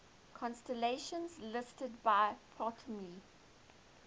constellations listed by ptolemy